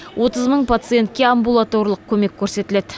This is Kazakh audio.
отыз мың пациентке амбулаторлық көмек көрсетіледі